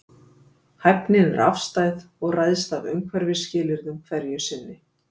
Hæfnin er afstæð og ræðst af umhverfisskilyrðum hverju sinni.